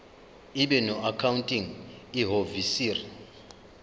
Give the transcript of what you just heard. ibe noaccounting ihhovisir